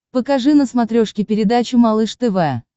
покажи на смотрешке передачу малыш тв